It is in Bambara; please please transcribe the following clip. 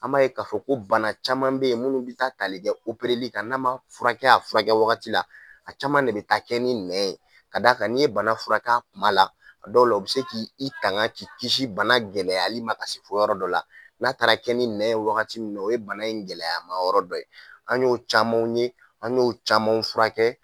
An b'a ye ka fɔ ko bana caman bɛ ye munnu bɛ taa talikɛ opereli kan n'a man furakɛ a furakɛ wagati la a caman le bɛ taa kɛ ni nɛ ye ka d'a kan n'i ye bana furakɛ kuma la a dɔw la u bɛ se k'i i tankan k'i kisi bana gɛlɛyali ma ka se fo yɔrɔ dɔ la n'a taara kɛ ni nɛ ye wagati min na o ye bana in gɛlɛyama yɔrɔ dɔ ye an y'o caman ye an y'o caman furakɛ.